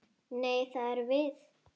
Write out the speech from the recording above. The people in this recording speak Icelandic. Nei, það erum við.